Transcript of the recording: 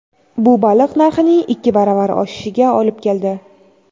Bu baliq narxining ikki baravar oshishiga olib keldi.